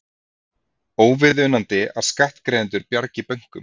Óviðunandi að skattgreiðendur bjargi bönkum